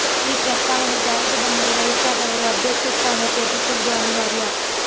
ಈ ಪ್ರಸ್ತಾವನೆ ಜಾರಿಗೆ ಬಂದರೆ ವಯಸ್ಸಾದವರು ಅಧ್ಯಕ್ಷ ಸ್ಥಾನ ತ್ಯಜಿಸುವುದು ಅನಿವಾರ್ಯ